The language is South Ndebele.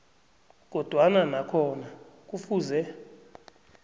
kodwana nakhona kufuze